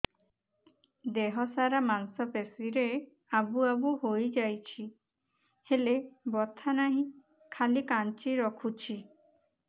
ଦେହ ସାରା ମାଂସ ପେଷି ରେ ଆବୁ ଆବୁ ହୋଇଯାଇଛି ହେଲେ ବଥା ନାହିଁ ଖାଲି କାଞ୍ଚି ରଖୁଛି